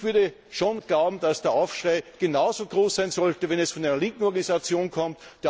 Ich würde schon glauben, dass der Aufschrei genauso groß sein sollte, wenn es von einer linken Organisation kommt.